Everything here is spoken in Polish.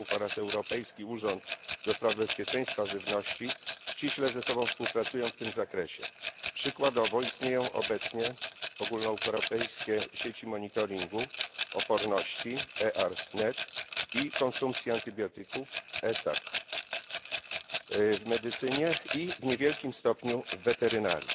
Leków oraz Europejski Urząd do spraw Bezpieczeństwa Żywności ściśle ze sobą współpracują w tym zakresie. Przykładowo istnieją obecnie ogólnoeuropejskie sieci monitoringu oporności EARS Net i konsumpcji antybiotyków ESAC w medycynie i w niewielkim stopniu w weterynarii.